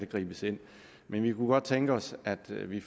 gribes ind men vi kunne godt tænke os at vi